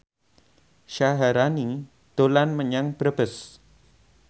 Syaharani dolan menyang Brebes